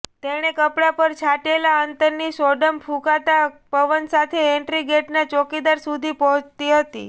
તેણે કપડા પર છાંટેલા અત્તરની સોડમ ફૂંકાતા પવન સાથે એન્ટ્રીગેટનાં ચોકીદાર સુધી પહોંચતી હતી